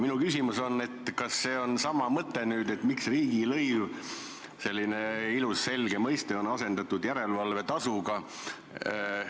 Minu küsimus on, et miks riigilõiv, selline ilus selge mõiste, on asendatud järelevalvetasuga?